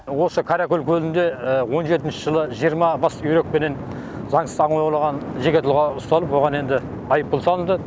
осы қаракөл көлінде он жетінші жылы жиырма бас үйрекпенен заңсыз аң аулаған жеке тұлға ұсталып оған енді айыппұл салынды